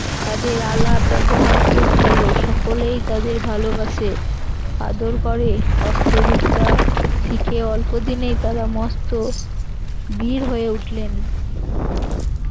তাদের আলাপ ব্যবহার খুব ভালো সকলেই তাদের ভালোবাসে আদর করে অস্ত্রবিদ্যা শিখে অল্পদিনে তারা মস্ত বীর হয়ে উঠলেন